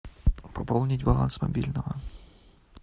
пополнить баланс мобильного